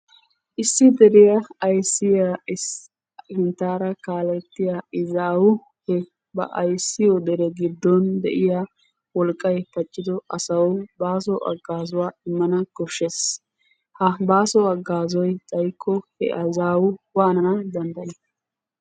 Issi deriya ayssiya sinttaara kaalettiya izaawu he ba ayssiyo dere giddon de'iya wolqqay paccido asawu baasi haggaazuwa immana koshshees. Ha baaso haggaazoy xaykko he izaawu waanana dandday?